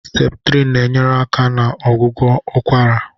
Septrịn na-enyere aka na ọgwụgwọ ụkwara.